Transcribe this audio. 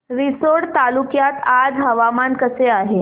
रिसोड तालुक्यात आज हवामान कसे आहे